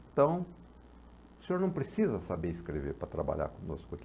Então, o senhor não precisa saber escrever para trabalhar conosco aqui.